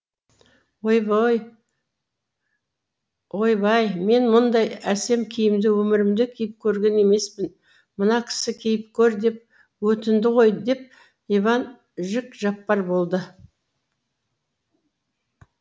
ойбай мен мұндай әсем киімді өмірімде киіп көрген емеспін мына кісі киіп көр деп өтінді ғой деп иван жік жапар болды